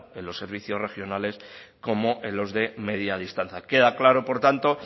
en los servicios regionales como en los de media distancia queda claro por tanto